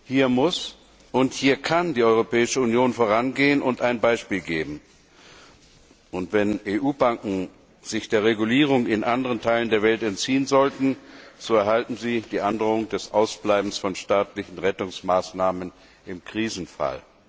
Hier muss und kann die Europäische Union vorangehen und ein Beispiel geben. Wenn EU Banken sich der Regulierung in anderen Teilen der Welt entziehen sollten, so erhalten sie die Androhung des Ausbleibens von staatlichen Rettungsmaßnahmen im Krisenfall.